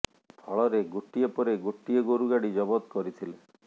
ଫଳରେ ଗୋଟିଏ ପରେ ଗୋଟିଏ ଗୋରୁ ଗାଡ଼ି ଜବଦ କରିଥିଲେ